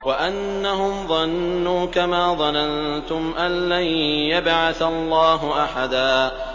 وَأَنَّهُمْ ظَنُّوا كَمَا ظَنَنتُمْ أَن لَّن يَبْعَثَ اللَّهُ أَحَدًا